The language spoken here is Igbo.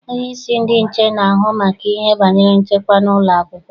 Onyeisi ndị nche na-ahụ maka ihe banyere nchekwa n'ụlọakwụkwọ.